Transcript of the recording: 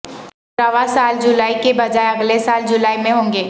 رواں سال جولائی کی بجائے اگلے سال جولائی میں ہونگے